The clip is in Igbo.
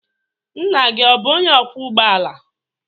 Nna gị ọ bụ onye ọkwọ ụgbọala?